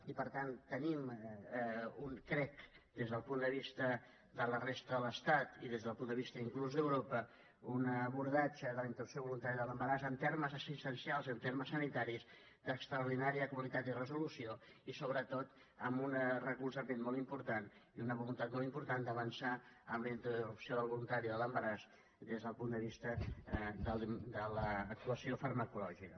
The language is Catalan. i per tant tenim crec des del punt de vista de la resta de l’estat i des del punt de vista inclús d’europa un abordatge de la interrupció voluntària de l’embaràs en termes assistencials en termes sanitaris d’extraordinària qualitat i resolució i sobretot amb un recolzament molt important i una voluntat molt important d’avançar en la interrupció voluntària de l’embaràs des del punt de vista de l’actuació farmacològica